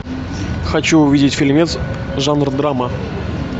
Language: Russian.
хочу увидеть фильмец жанр драма